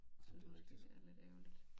Du ved det det er lidt ærgerligt